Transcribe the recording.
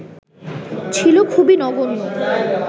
ছিল খুবই নগণ্য